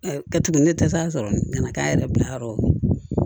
kɛ tugun ne tɛ se ka sɔrɔ kana k'an yɛrɛ bila yɔrɔ o